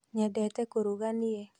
Nyendete kũruga niĩ